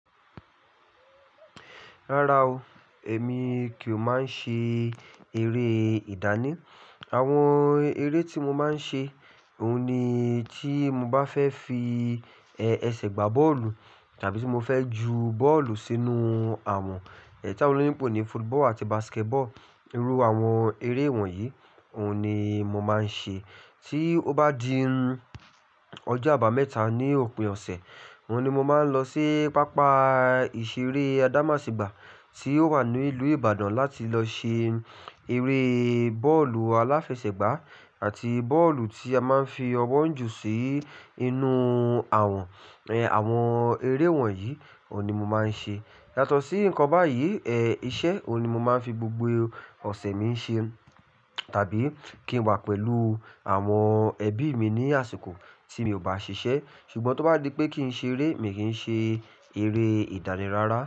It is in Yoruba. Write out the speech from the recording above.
Rárá o, èmi kìí máa ń ṣe eré ìdáná. Àwọn eré tí mo máa ń ṣe, òun ni tí mo bá fẹ́ fi ẹsẹ̀ gbá bọ́ọ̀lù tàbí tí mo fẹ́ ju bọ́ọ̀lù sínú àwọ̀n, ẹ́ tàwọn oloyinbo ní football àti basketball, irú àwọn eré wọ̀nyí, òun ni mo máa ń ṣe. Tí ó bá di ọjọ́ àbámẹ́ta ní òpin ọ̀sẹ̀, oun ni mo máa ń lọ sí pápá ìṣeré Adamasingba tí ó wà ní ìlú Ibadan láti lọ ṣe eré bọ́ọ̀lù aláfẹsẹ̀gbá àti bọ́ọ̀lù tí a máa ń fi ọwọ́ ju sí inú àwọ̀n. Àwọn eré wọ̀nyí, òun ni mo máa ń ṣe. Yàtọ̀ sí nǹkan báyìí, ẹ́ iṣẹ́ òun ni mo máa ń fi gbogbo ọ̀sẹ̀ mi ń ṣe tàbí kí n wà pẹ̀lú àwọn ẹbí mi ní àsìkò tí mi ò bá ṣiṣẹ́. Ṣùgbọ́n tó bá di pé kí n ṣe eré, mi kì í ṣe eré ìdáni rárá.